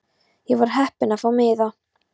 Ég var heppin að fá miða.